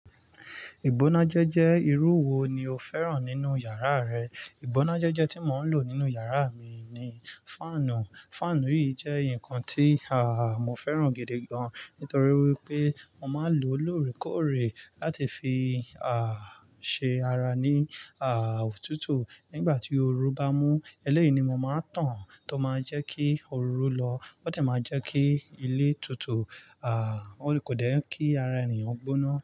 Ìgbónájẹ́jẹ́ irú wo ni o fẹ́ràn nínú yàrá rẹ? Ìgbónájẹ́jẹ́ tí mò ń lò nínú yàrá mi ni fáànù. Fáànù yìí jẹ́ nǹkan tí à, mo fẹ́ràn gidi gan, nítorí wípé mo máa ń lò ó lóòrèkóòrè láti fi à, ṣe ara ní à, òtútù. Nígbà tí oru bá mú, eléyìí ni mo máa ń tàn án tó máa jẹ́ kí oru ú lọ. Ó sì máa jẹ́ kí ilé tutù. À, ó kò dán kí ara ènìyàn gbóná.